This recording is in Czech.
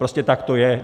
Prostě tak to je.